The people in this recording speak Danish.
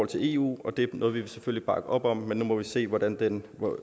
til eu og det er noget vi selvfølgelig vil bakke op om nu må vi se hvor den